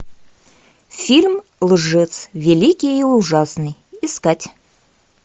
фильм лжец великий и ужасный искать